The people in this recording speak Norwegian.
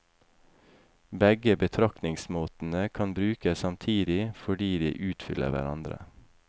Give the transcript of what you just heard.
Begge betraktningsmåtene kan brukes samtidig fordi de utfyller hverandre.